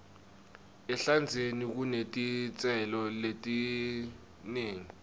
ehlandzeni kunetitselo letinengi